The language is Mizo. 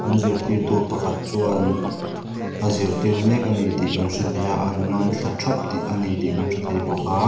an zirtirtu pakhat chuan a zirtir mek a ni tih kan hre thei a an ngaithla thap tih a ni tih kan hre thei bawk a.